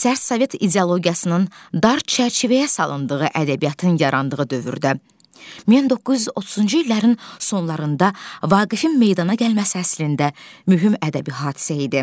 Sərt sovet ideologiyasının dar çərçivəyə salındığı ədəbiyyatın yarandığı dövrdə 1930-cu illərin sonlarında Vaqifin meydana gəlməsi əslində mühüm ədəbi hadisə idi.